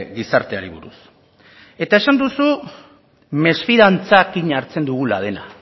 gizarteari buruz eta esan duzu mesfidantzarekin hartzen dugula dena